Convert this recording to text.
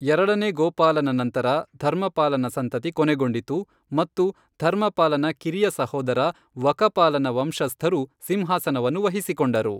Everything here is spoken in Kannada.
ಎರಡನೇ ಗೋಪಾಲನ ನಂತರ, ಧರ್ಮಪಾಲನ ಸಂತತಿ ಕೊನೆಗೊಂಡಿತು ಮತ್ತು ಧರ್ಮಪಾಲನ ಕಿರಿಯ ಸಹೋದರ, ವಕಪಾಲನ ವಂಶಸ್ಥರು ಸಿಂಹಾಸನವನ್ನು ವಹಿಸಿಕೊಂಡರು.